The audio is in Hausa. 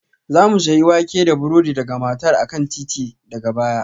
Za mu sayi wake da burodi daga matar a kan titi daga baya